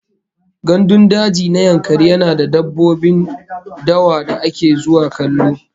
Gandun daji na Yankari yana da dabbobin dawa da ake zuwa kallo